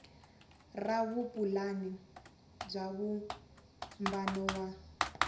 ra vupulani bya vumbano wa